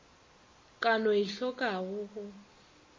ka no e tlhokago go